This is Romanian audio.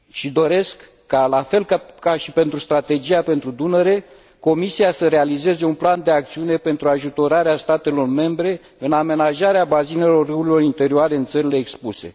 Doresc ca, la fel ca și pentru strategia pentru Dunăre, Comisia să realizeze un plan de acțiune pentru ajutorarea statelor membre în amenajarea bazinelor râurilor interioare în țările expuse.